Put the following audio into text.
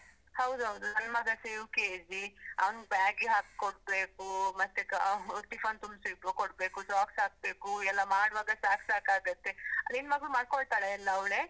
ಹೌದೌದು, ನನ್ ಮಗಸ UKG, ಅವನ್ bag ಗಿಗ್ ಹಾಕೊಡ್ಬೇಕು, ಮತ್ತೆ tiffin ತುಂಬ್ಸಿ ಕೊಡ್ಬೇಕು, socks ಹಾಕ್ಬೇಕು ಎಲ್ಲ ಮಾಡುವಾಗ ಸಾಕ್ ಸಾಕಾಗುತ್ತೆ, ನಿನ್ ಮಗ್ಳು ಮಾಡ್ಕೊಳ್ತಾಳ ಎಲ್ಲ ಅವ್ಳೇ?